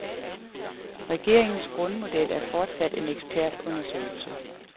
Regeringens grundmodel er fortsat en ekspertundersøgelse.